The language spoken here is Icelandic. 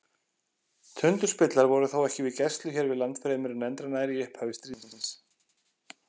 Tundurspillar voru þó ekki við gæslu hér við land fremur en endranær í upphafi stríðsins.